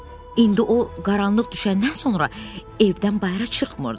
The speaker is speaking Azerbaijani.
İndi o qaranlıq düşəndən sonra evdən bayıra çıxmırdı.